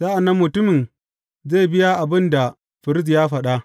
Sa’an nan mutumin zai biya abin da firist ya faɗa.